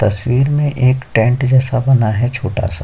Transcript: तस्वीर में एक टेंट जैसा बना है छोटा सा--